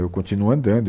Eu continuo andando e